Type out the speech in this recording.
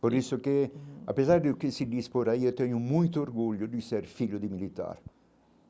Por isso que, apesar de o que se diz por aí, eu tenho muito orgulho de ser filho de militar.